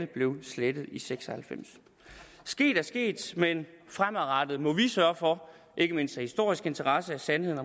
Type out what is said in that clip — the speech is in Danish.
blev slettet i nitten seks og halvfems sket er sket men fremadrettet må vi sørge for ikke mindst af historisk interesse at sandheden